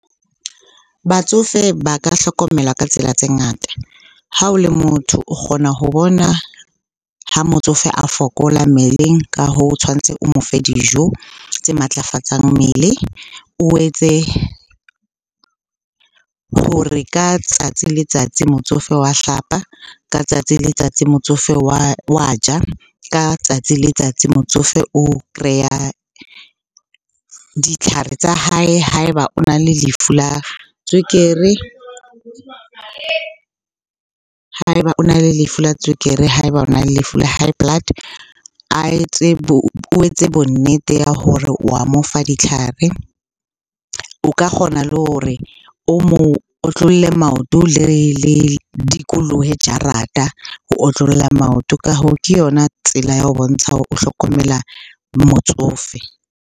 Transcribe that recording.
Batsofe ba ka hlokomelwa ka tsela tse ngata. Ha o le motho o kgona ho bona ho motsofe a fokola mmeleng. Ka hoo, o tshwanetse o mo fe dijo tse matlafatsang mmele, o etse hore ka tsatsi le tsatsi motsofe wa hlapa, ka tsatsi le tsatsi motsofe wa ja, ka tsatsi le tsatsi motsofe o kreya ditlhare tsa hae ha eba o na le lefu la tswekere, ha eba o na le lefu la tswekere, ha eba o na le lefu la high blood. A etse o etse bonnete ba hore owa mo fa ditlhare. O ka kgona le hore o mo otlolle maoto le dikolollohe jarata, ho otlolla maoto. Ka hoo, ke yona tsela ya ho bontsha hore o hlokomela motsofe.